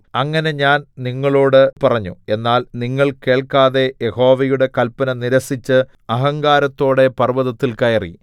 അങ്ങനെ ഞാൻ നിങ്ങളോട് പറഞ്ഞു എന്നാൽ നിങ്ങൾ കേൾക്കാതെ യഹോവയുടെ കല്പന നിരസിച്ച് അഹങ്കാരത്തോടെ പർവ്വതത്തിൽ കയറി